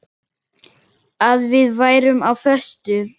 Að við værum á föstu.